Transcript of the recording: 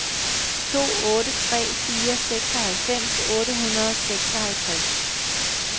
to otte tre fire seksoghalvfems otte hundrede og seksoghalvtreds